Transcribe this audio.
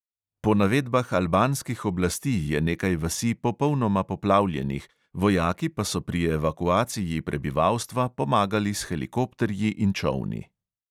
Po navedbah albanskih oblasti je nekaj vasi popolnoma poplavljenih, vojaki pa so pri evakuaciji prebivalstva pomagali s helikopterji in čolni.